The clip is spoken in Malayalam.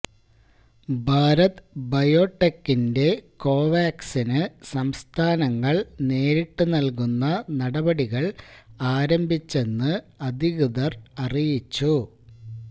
ഭാരത് ബയോടെകിന്റെ കോവാക്സിന് സംസ്ഥാനങ്ങള്ക്ക് നേരിട്ട് നല്കുന്ന നടപടികള് ആരംഭിച്ചെന്ന് അധികൃതര് അറിയിച്ചു